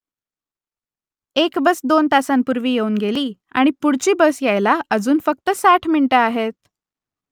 एक बस दोन तासांपूर्वी येऊन गेली आणि पुढची बस यायला अजून फक्त साठ मिनिटं आहेत